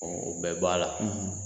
Ɔ o bɛɛ b'a la